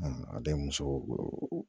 a bɛ muso